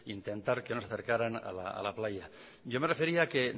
intentar que no se acercaran a la playa yo me refería a que